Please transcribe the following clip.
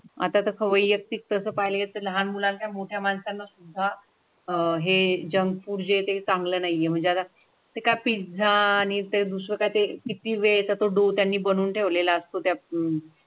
आता ख व्यक्त पाहिजेत लहान मुलांना मोठय़ा माणसांना सुद्धा अह हे जंक फुड ते चांगलं नाहीये म्हणजे एका पिझ्झा आणि ते दुसरे काय ते किती वेळा डोव्ह त्यांनी बनवून ठेवलेला असतो त्या.